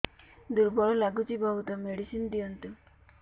ଦୁର୍ବଳ ଲାଗୁଚି ବହୁତ ମେଡିସିନ ଦିଅନ୍ତୁ